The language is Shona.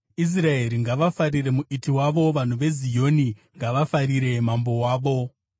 Israeri ngavafarire Muiti wavo; vanhu veZioni ngavafarire Mambo wavo.